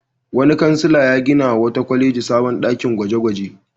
Wani kansila ya ginawa wata kwaleji sabon ɗakin gwaje-gwaje.